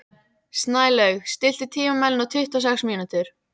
Snælaug, stilltu tímamælinn á tuttugu og sex mínútur.